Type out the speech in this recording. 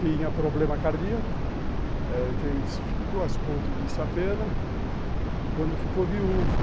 Tinha problema cardíaco, fez duas pontes de safena, quando ficou viúvo.